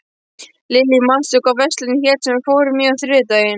Lillý, manstu hvað verslunin hét sem við fórum í á þriðjudaginn?